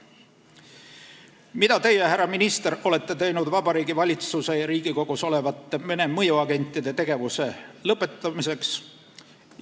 Mida teie, härra minister, olete teinud Vabariigi Valitsuses ja Riigikogus olevate Vene mõjuagentide tegevuse lõpetamiseks?